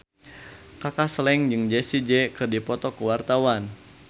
Kaka Slank jeung Jessie J keur dipoto ku wartawan